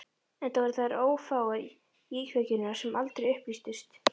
Enda voru þær ófáar, íkveikjurnar sem aldrei upplýstust.